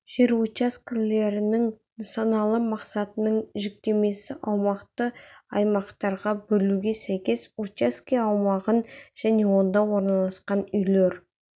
жер учаскелерінің нысаналы мақсатының жіктемесі аумақты аймақтарға бөлуге сәйкес учаске аумағын және онда орналасқан үйлер